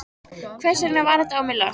Hvers vegna var þetta á mig lagt?